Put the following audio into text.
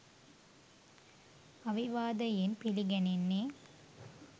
අවිවාදයෙන් පිළිගැනෙන්නේ